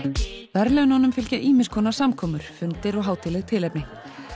verðlaununum fylgja ýmiss konar samkomur fundir og hátíðleg tilefni